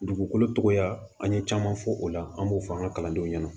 Dugukolo tɔgɔya an ye caman fɔ o la an b'o fɔ an ka kalandenw ɲɛna